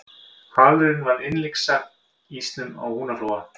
hvalurinn varð innlyksa í ísnum á húnaflóa